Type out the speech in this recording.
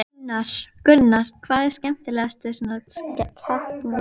Gunnar: Hvað er skemmtilegast við svona keppni?